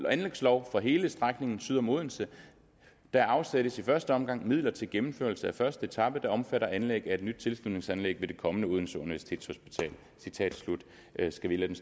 anlægslov for hele strækningen syd om odense der afsættes i første omgang midler til gennemførelse af første etape der omfatter anlæg af et nyt tilslutningsanlæg ved det kommende odense universitetshospital skal vi lade